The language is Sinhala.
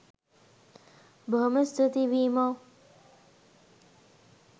බොහොම ස්තූතියි වීමෝ